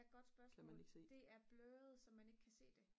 er et godt spørgsmål det er sløret så man ikke kan se det